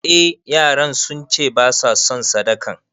Eh yaran sunce basa son sadakan